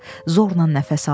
Zorla nəfəs alır.